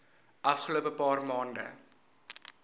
afgelope paar maande